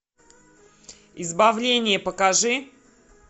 избавление покажи